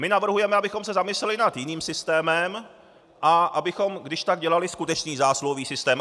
My navrhujeme, abychom se zamysleli nad jiným systémem a abychom když tak dělali skutečný zásluhový systém.